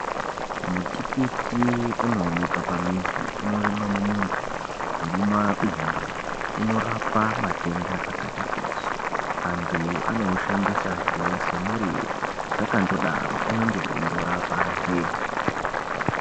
Mutikiti unoonekwa pamizi unowanikwa mumunda nemumabindu. Unorapa matenda akati kuti. Antu anoushandisazve semuriwo zvakandodaro unenge weindorapahe.